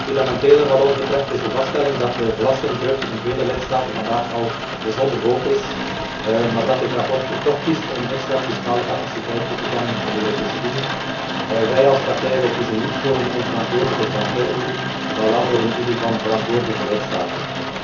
Fundamenteler wat ons betreft, is de vaststelling dat de belastingdruk in vele lidstaten vandaag al bijzonder hoog is, maar dat dit verslag toch kiest om extra fiscale capaciteit toe te kennen aan de Europese Unie. Wij als partij kiezen niet voor een onverantwoordelijke transferunie, maar voor een unie van verantwoordelijke lidstaten.